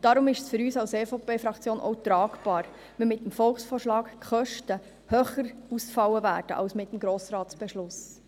Darum ist es für uns als EVP-Fraktion auch tragbar, wenn mit dem Volksvorschlag die Kosten höher ausfallen werden als mit dem Grossratsbeschluss.